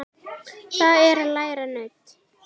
Það er að læra nudd.